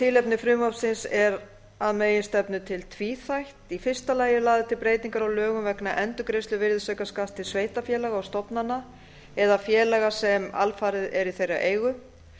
tilefni frumvarpsins er að meginstefnu til tvíþætt í fyrsta lagi eru lagðar til breytingar á lögum vegna endurgreiðslu virðisaukaskatts til sveitarfélaga og stofnana eða félaga sem alfarið eru í þeirra eigu